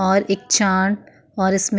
और एक चाट और इसमें --